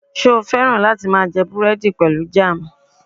Ṣe o fẹ́ràn lati máa jẹ búrẹ́dì pẹlu jam?